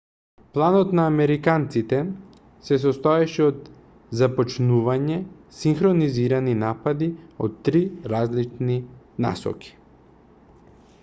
планот на американците се состоеше од започнување синхронизирани напади од три различни насоки